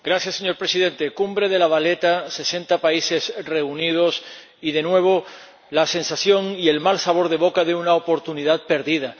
Señor Presidente cumbre de La Valeta, sesenta países reunidos y de nuevo la sensación y el mal sabor de boca de una oportunidad perdida.